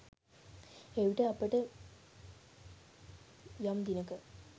එවිට අපිට යම් දිනක